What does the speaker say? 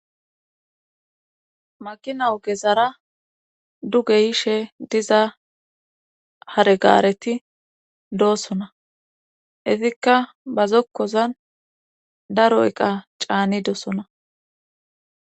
makina ogezara duge yishe diza hare gaareti doossona izikka ba zokkozan daro iqa caanidosona.